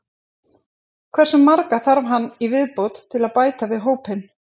Hversu marga þarf hann í viðbót til að bæta við hópinn?